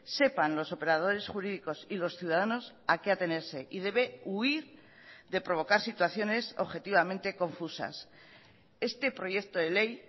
sepan los operadores jurídicos y los ciudadanos a qué atenerse y debe huir de provocar situaciones objetivamente confusas este proyecto de ley